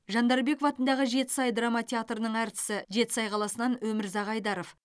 жандарбеков атындағы жетісай драма театрының әртісі жетісай қаласынан өмірзақ айдаров